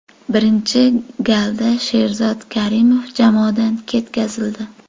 Birinchi galda Sherzod Karimov jamoadan ketkazildi.